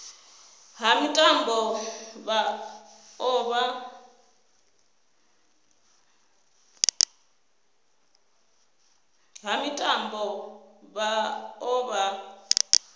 ha mitambo vha o vha